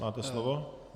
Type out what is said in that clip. Máte slovo.